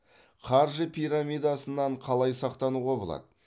қаржы пирамидасынан қалай сақтануға болады